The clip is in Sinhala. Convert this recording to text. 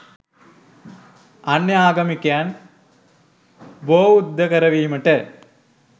අන්‍ය ආගමිකයන් බෝවුද්ධ කරවීම